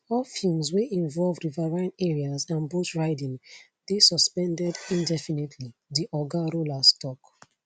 all films wey involve riverine areas and boat riding dey suspended indefinitely di oga rollas tok